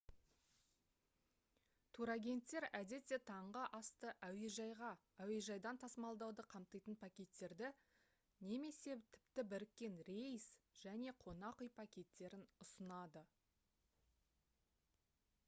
турагенттер әдетте таңғы асты әуежайға/әуежайдан тасымалдауды қамтитын пакеттерді немесе тіпті біріккен рейс және қонақ үй пакеттерін ұсынады